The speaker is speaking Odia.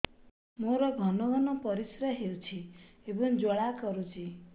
ମୋର ଘନ ଘନ ପରିଶ୍ରା ହେଉଛି ଏବଂ ଜ୍ୱାଳା କରୁଛି